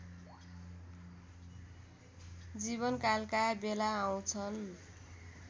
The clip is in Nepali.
जीवनकालका बेला आउँछन्